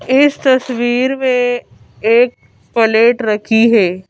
इस तस्वीर में एक प्लेट रखी है।